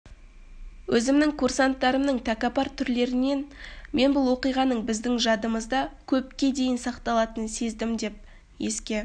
өзімнің курстастарымның тәкаппар түрлерінен мен бұл оқиғаның біздің жадымызда көпке дейін сақталатынын сездім деп еске